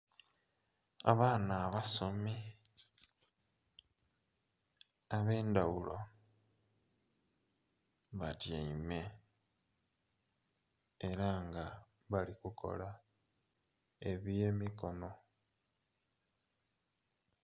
Abaana abasomi ab'endhaghulo batyaime era nga bali kukola eby'emikono.